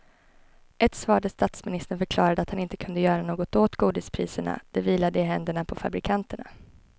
Ett svar där statsministern förklarade att han inte kunde göra något åt godispriserna, det vilade i händerna på fabrikanterna.